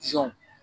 Sɔn